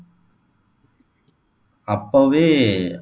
அப்போவே